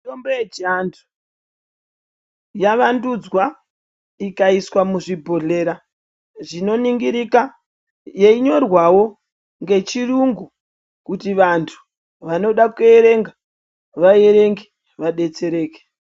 Mitombo yechivantu yavandudzwa ikaiswa muzvibhohlora zvinoningirika yeinyorwawo ngechirungu kuti vantu vanoda kuerenga vaerenge vadetsereke.